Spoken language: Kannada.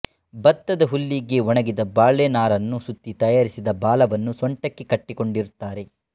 ಭತ್ತದ ಹುಲ್ಲಿಗೆ ಒಣಗಿದ ಬಾಳೆನಾರನ್ನು ಸುತ್ತಿ ತಯಾರಿಸಿದ ಬಾಲವನ್ನು ಸೊಂಟಕ್ಕೆ ಕಟ್ಟಿಕೊಂಡಿರುತ್ತಾರೆ